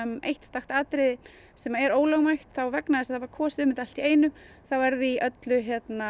eitt atriði sem er ólögmætt og vegna þess að það var kosið um þetta allt í einu þá er því öllu